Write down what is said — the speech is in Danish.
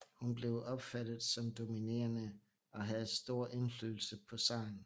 Hun blev opfattet som dominerende og havde stor indflydelse på zaren